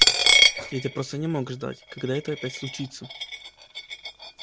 и ты просто не мог ждать когда это опять случится